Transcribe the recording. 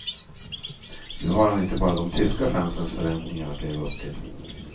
Nu har han inte bara de tyska fansens förväntningar att leva upp till.